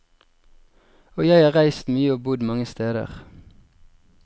Og jeg har reist mye og bodd mange steder.